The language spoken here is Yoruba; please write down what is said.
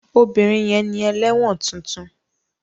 Obìnrin yẹn ni ẹlẹ́wọ̀n tuntun.